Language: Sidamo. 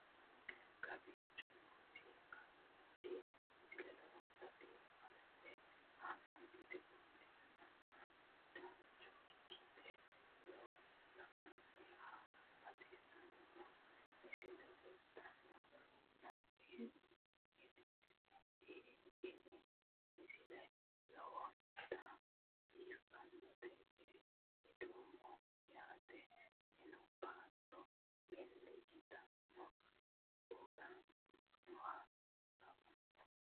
kowicho nooti aliidi misile lowonta biifinse haa'noonniti qooxeessano dancha ikkite la'annohano baxissanno misile leeltanni nooe ini misile lowonta biifffinnote yee hedeemmo yaate minu baatto milli yiteenna uwinoha lawanno